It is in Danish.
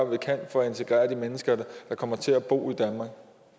vi kan for at integrere de mennesker der kommer til at bo i danmark